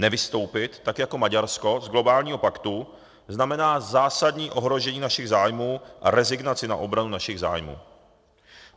Nevystoupit tak jako Maďarsko z globálního paktu znamená zásadní ohrožení našich zájmů a rezignaci na obranu našich zájmů.